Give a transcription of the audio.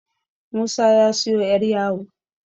Musa ya siyo 'yaryawo